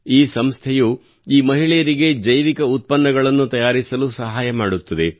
ಈ ಸಂಸ್ಥೆಯು ಈ ಮಹಿಳೆಯರಿಗೆ ಜೈವಿಕ ಉತ್ಪನ್ನಗಳನ್ನು ತಯಾರಿಸಲು ಸಹಾಯ ಮಾಡುತ್ತದೆ